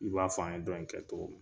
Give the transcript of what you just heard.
I b'a f'an ye dɔni kɛ tɔgɔmi